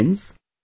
Friends,